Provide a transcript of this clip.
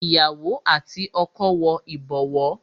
Ìyàwó àti ọkọ wo ibowo